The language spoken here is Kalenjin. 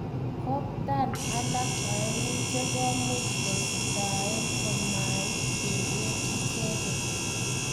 Koptan alak oeng che koimuch kositaen komait keger icheget.